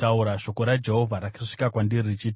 Shoko raJehovha rakasvika kwandiri richiti: